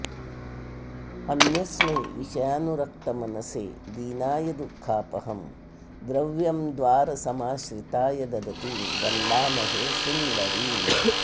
अन्यस्मै विषयानुरक्तमनसे दीनाय दुःखापहं द्रव्यं द्वारसमाश्रिताय ददतीं वन्दामहे सुन्दरीम्